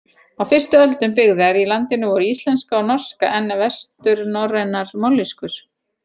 Á fyrstu öldum byggðar í landinu voru íslenska og norska enn vesturnorrænar mállýskur.